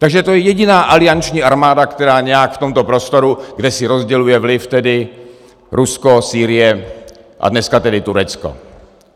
Takže to je jediná alianční armáda, která nějak v tomto prostoru, kde si rozděluje vliv tedy Rusko, Sýrie a dneska tedy Turecko.